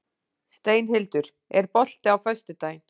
Steinhildur, er bolti á föstudaginn?